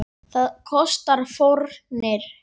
Það kostar fórnir.